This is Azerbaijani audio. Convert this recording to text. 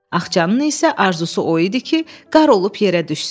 Axçanın isə arzusu o idi ki, qar olub yerə düşsün.